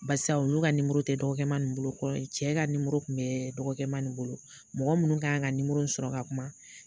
Barisa ulu ka nimoro tɛ dɔgɔkɛma nin bolo kɔrɔ ye cɛ ka nimoro kun bɛ dɔgɔkɛma nin bolo mɔgɔ minnu kan ka nimoro in sɔrɔ ka kuma